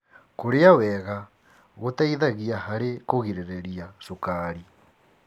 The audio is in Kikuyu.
Kũrĩa wega gũteithagia harĩ kũgirĩrĩria cukari.